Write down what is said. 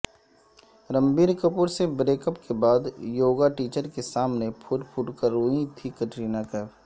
رنبیرکپورسے break up کے بعد یوگا ٹیچرکےسامنےپھوٹ پھوٹ کرروئی تھیں کٹرینہ کیف